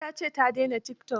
Ai ta ce ta daina tikitok.